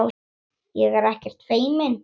Ég er ekkert feimin.